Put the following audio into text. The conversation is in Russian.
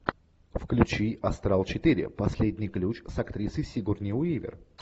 включи астрал четыре последний ключ с актрисой сигурни уивер